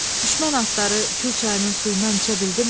Düşmən atları Kür çayının suyundan içə bildimi?